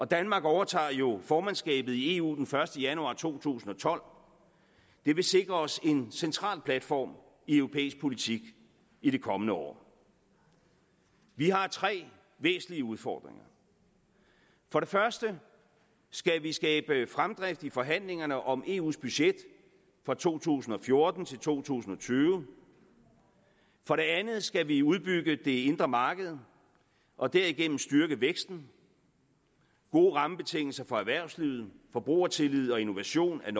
danmark overtager jo formandskabet i eu den første januar to tusind og tolv det vil sikre os en central platform i europæisk politik i det kommende år vi har tre væsentlige udfordringer for det første skal vi skabe fremdrift i forhandlingerne om eus budget for 2014 2020 for det andet skal vi udbygge det indre marked og derigennem styrke væksten gode rammebetingelser for erhvervslivet forbrugertillid og innovation er